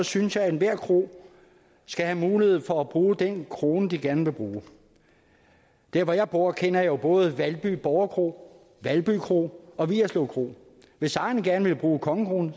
synes jeg at enhver kro skal have mulighed for at bruge den krone de gerne vil bruge der hvor jeg bor kender jeg jo både valby borgerkro valby kro og vigerslev kro hvis ejerne gerne vil bruge kongekronen